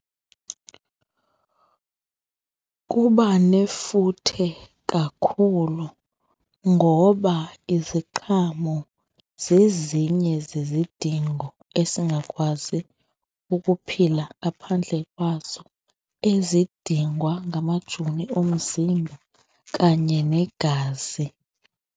Kuba nefuthe kakhulu ngoba iziqhamo zezinye zezidingo esingakwazi ukuphila ngaphandle kwazo, ezidingwa ngamajoni omzimba kanye negazi.